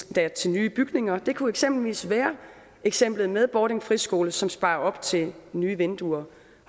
endda til nye bygninger det kunne eksempelvis være eksemplet med bordings friskole som sparer op til nye vinduer